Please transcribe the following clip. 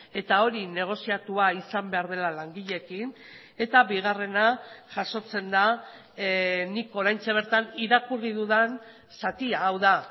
eta hori negoziatua izan behar dela langileekin eta bigarrena jasotzen da nik oraintxe bertan irakurri dudan zatia hau da